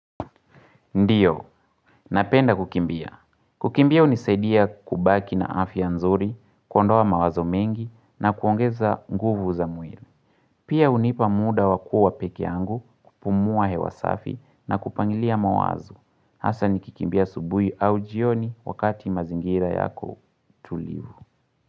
Ndiyo, napenda kukimbia. Kukimbia hunisaidia kubaki na afya nzuri, kuondoa mawazo mengi na kuongeza nguvu za mwiri. Pia hunipa muda wa kuwa peke yangu kupumua hewa safi na kupangilia mawazo. Hasa nikikimbia asubuhi au jioni wakati mazingira yako tulivu.